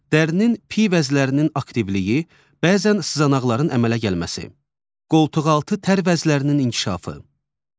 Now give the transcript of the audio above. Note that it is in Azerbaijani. Dərinin piy vəzlərinin aktivliyi, bəzən sızanaqların əmələ gəlməsi, qoltuqaltı tər vəzlərinin inkişafı.